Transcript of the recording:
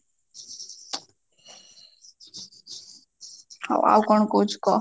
ହଉ ଆଉ କଣ କହୁଛୁ କହ